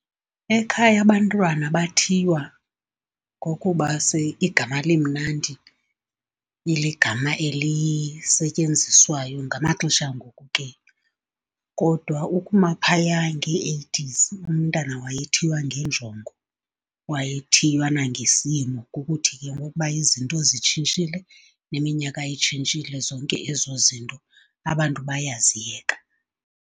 Ekhaya abantwana bathiywa ngokuba igama limnandi, iligama elisetyenziswayo ngamaxesha angoku ke. Kodwa ukuma phaya ngee-eighties umntana wayethiywa ngenjongo, wayethiywa nangesimo. Ngokuthi ke ngokuba izinto zitshintshile, neminyaka itshintshile zonke ezo zinto abantu bayaziyeka.